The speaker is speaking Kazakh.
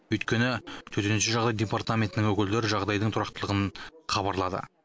өйткені төтенше жағдайлар департаментінің өкілдері жағдайдың тұрақтылығын хабарлады